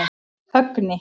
Högni